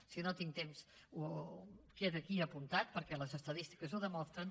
si no tinc temps queda aquí apuntat perquè les estadístiques ho demostren